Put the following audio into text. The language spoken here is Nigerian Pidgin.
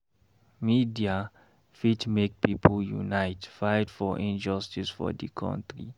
Media fit make pipo unite fight for injustice for di country.